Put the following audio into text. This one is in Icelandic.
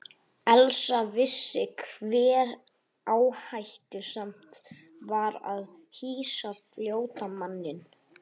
Elsa vissi hve áhættusamt var að hýsa flóttamanninn.